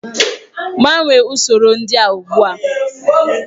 Gbanwee usoro ndị a ugbu a!